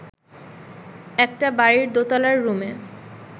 একটা বাড়ির দোতলার রুমে